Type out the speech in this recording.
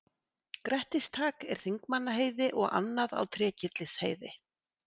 Grettistak er á Þingmannaheiði og annað á Trékyllisheiði.